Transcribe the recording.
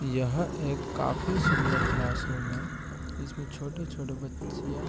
यह एक काफी सुंदर क्लासरूम है इसमें छोटी-छोटी बच्चियाँ--